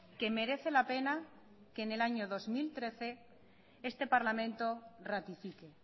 que merece la pena que en el año dos mil trece este parlamento ratifique